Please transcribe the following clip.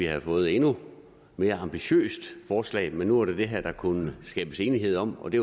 havde fået et endnu mere ambitiøst forslag men nu var det det her der kunne skabes enighed om og det